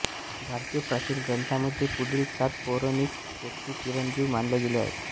भारतीय प्राचीन ग्रंथांमध्ये पुढील सात पौराणिक व्यक्ती चिरंजीव मानल्या गेल्या आहेत